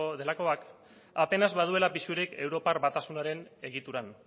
delakoak apenas baduela pisurik europar batasunaren egituran